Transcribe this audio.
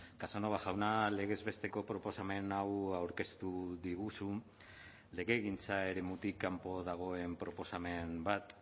casanova jauna legez besteko proposamen hau aurkeztu diguzu legegintza eremutik kanpo dagoen proposamen bat